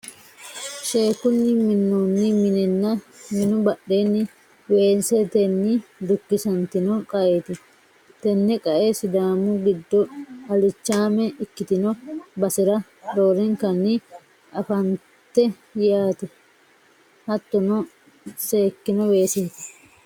sheekkunni minnoonni minenna minu badheenni weesetenni dukkisantino qaeeti. tenne qae sidaamu giddo ilichaame ikkitino basera roorinkanni anfannite yaate. hattono seekkino weeseeti.